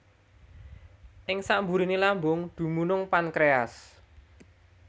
Ing samburiné lambung dumunung pankréas